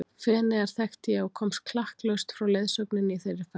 Feneyjar þekkti ég og komst klakklaust frá leiðsögninni í þeirri ferð.